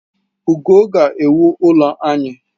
Ugo ga-ewu ụlọ anyị